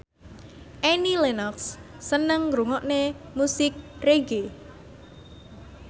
Annie Lenox seneng ngrungokne musik reggae